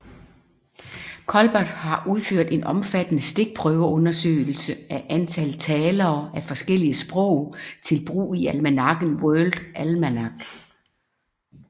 Culbert har udført omfattende stikprøveundersøgelser af antal talere af forskellige sprog til brug i almanakken World Almanac